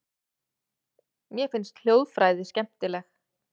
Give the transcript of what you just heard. Mér finnst hljóðfræði skemmtileg.